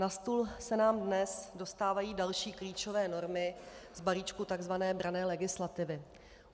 Na stůl se nám dnes dostávají další klíčové normy z balíčku tzv. branné legislativy.